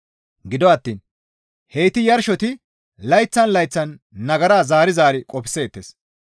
Gido attiin heyti yarshoti layththan layththan nagara zaari zaari qofseettes.